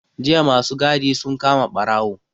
Jiya ma su gadi sun kama ɓarawo.